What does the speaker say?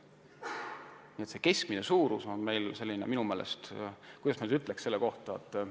Nii et see keskmine suurus on meil minu meelest – kuidas ma nüüd ütlen selle kohta?